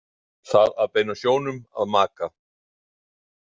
Það að beina sjónum að maka.